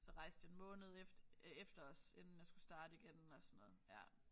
Så rejste jeg en måned efter øh efter også inden jeg skulle starte igen og sådan noget ja